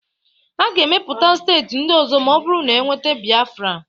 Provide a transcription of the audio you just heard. A ga-emepụta steeti ndị ọzọ ma ọ bụrụ na e nweta Biafra